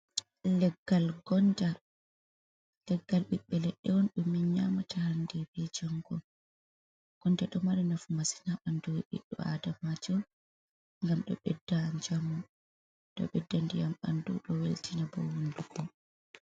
Leggal Gonda: Leggal ɓiɓɓe leɗɗe on ɗum min nyamata hande be jango. Gonda ɗo mari nafu masin ha ɓandu biɗdo adamajo ngam do bedda njamu, ɗo ɓedda ndiyam bandu do weltina ɓandu.